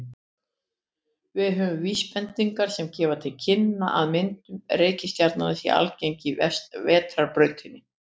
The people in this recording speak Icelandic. Við höfum vísbendingar sem gefa til kynna að myndun reikistjarna sé algeng í Vetrarbrautinni.